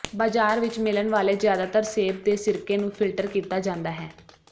ਬਾਜ਼ਾਰ ਵਿਚ ਮਿਲਣ ਵਾਲੇ ਜਿਆਦਾਤਰ ਸੇਬ ਦੇ ਸਿਰਕੇ ਨੂੰ ਫਿਲਟਰ ਕੀਤਾ ਜਾਂਦਾ ਹੈ